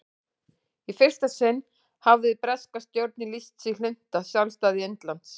í fyrsta sinn hafði breska stjórnin lýst sig hlynnta sjálfstæði indlands